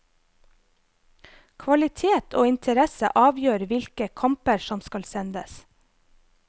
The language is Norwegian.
Kvalitet og interesse avgjør hvilke kamper som skal sendes.